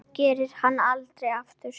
Það gerði hún aldrei aftur.